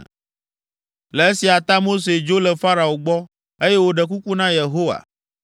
Le esia ta Mose dzo le Farao gbɔ, eye wòɖe kuku na Yehowa,